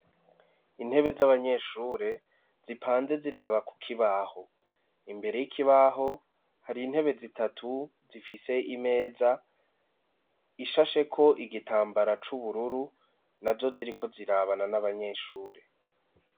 Intebe z'abanyeshure zipanze ziraba ku kibaho imbere y'ikibaho hari intebe zitatu zifise imeza ishasheko igitambara c'ubururu nazo ziriko zirabana n'abanyeshure.